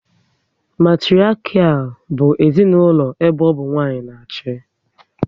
Matiriakial bụ ezinaụlọ ebe ọ bụ nwanyị na achị